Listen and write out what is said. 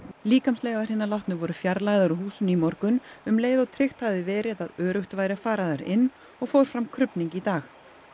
líkamsleifar hinna látnu voru fjarlægðar úr húsinu í morgun um leið og tryggt hafði verið að öruggt væri að fara þar inn og fór fram krufning í dag